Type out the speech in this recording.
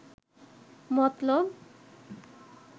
মতলব